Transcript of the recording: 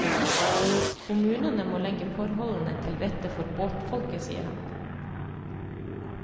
Kommunene må legge forholdene til rette for båtfolket, sier han.